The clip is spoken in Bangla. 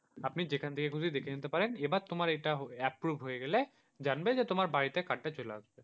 আপনি যেখান থেকে খুশি দেখে নিতে পারেন এবার তোমার এটা approve হয়ে গেলে জানবে যে তোমার বাড়িতে card টা চলে আসবে।